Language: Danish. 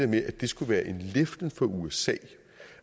med at det skulle være en leflen for usa